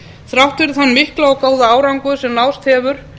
þrátt fyrir þann mikla og góða árangur sem náðst hefur